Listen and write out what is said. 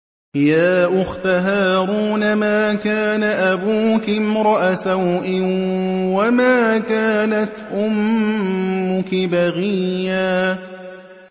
يَا أُخْتَ هَارُونَ مَا كَانَ أَبُوكِ امْرَأَ سَوْءٍ وَمَا كَانَتْ أُمُّكِ بَغِيًّا